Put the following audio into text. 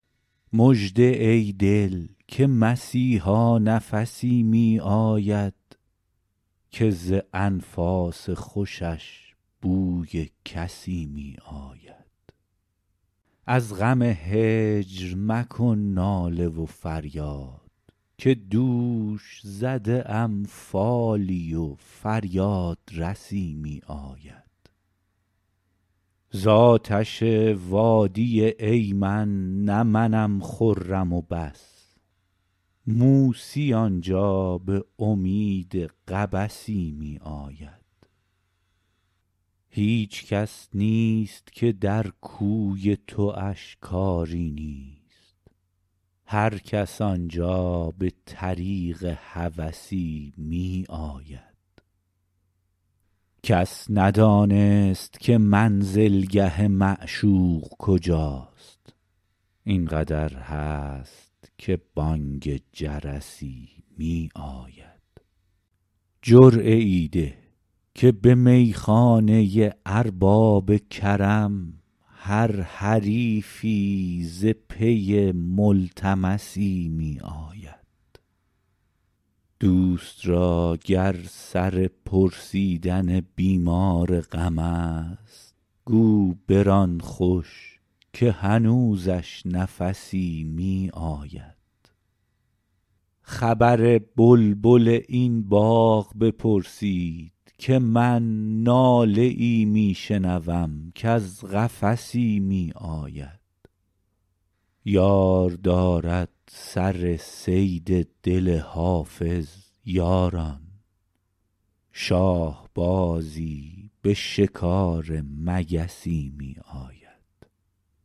مژده ای دل که مسیحا نفسی می آید که ز انفاس خوشش بوی کسی می آید از غم هجر مکن ناله و فریاد که دوش زده ام فالی و فریادرسی می آید زآتش وادی ایمن نه منم خرم و بس موسی آنجا به امید قبسی می آید هیچ کس نیست که در کوی تواش کاری نیست هرکس آنجا به طریق هوسی می آید کس ندانست که منزلگه معشوق کجاست این قدر هست که بانگ جرسی می آید جرعه ای ده که به میخانه ارباب کرم هر حریفی ز پی ملتمسی می آید دوست را گر سر پرسیدن بیمار غم است گو بران خوش که هنوزش نفسی می آید خبر بلبل این باغ بپرسید که من ناله ای می شنوم کز قفسی می آید یار دارد سر صید دل حافظ یاران شاهبازی به شکار مگسی می آید